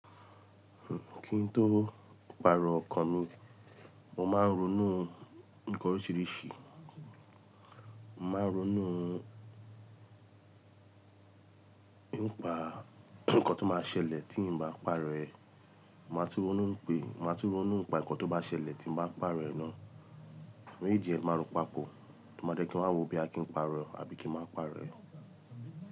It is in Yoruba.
Kí n tó paàrọ̀ ọkàn mi, mo máa ń ronú nǹkan oríṣiríṣi. Mo máa ń ronú, ń pa nǹkan tó máa ṣẹlẹ̀ tí ń bá paàrọ̀ ẹ. Máa tún ronú pé, máa tún ronú nípa nǹkan tó máa ṣẹlẹ̀ tí ń bá paàrọ̀ ẹ ná. Age e ni máa rọ́ pa pò, tí mo dẹ̀ kí ma wò bo ya kì ń pàrọ̀ e àbí kí n máa pàrọ̀ ẹ.